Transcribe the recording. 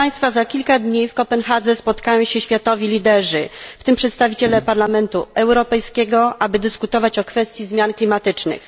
Za kilka dni w Kopenhadze spotkają się światowi liderzy, w tym przedstawiciele Parlamentu Europejskiego, aby dyskutować o kwestii zmian klimatycznych.